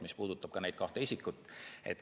See puudutab ka neid kahte isikut.